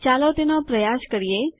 ચાલો તેનો પ્રયાસ કરીએ